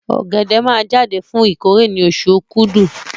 Ọ̀gẹ̀dẹ̀ máa jáde fún ìkórè ní oṣù Okúdù